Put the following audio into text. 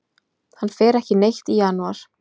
Hann fer ekki neitt í janúar.